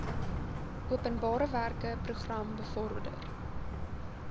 openbarewerke program bevorder